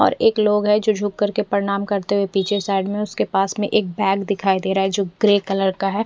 और एक लोग है जो जुक कर के परणाम करते हुए पीछे साइड में उसके पास में एक बेग दिखाई देरा है जो ग्रे कलर का है।